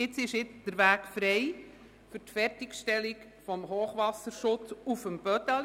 Jetzt ist der Weg frei für die Fertigstellung des Hochwasserschutzes auf dem Bödeli.